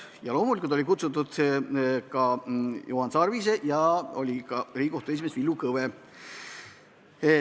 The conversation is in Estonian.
Peale Juhan Sarve oli kohale kutsutud ka Riigikohtu esimees Villu Kõve.